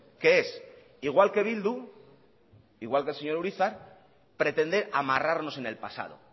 que es igual que bildu igual que el señor urizar pretender amarrarnos en el pasado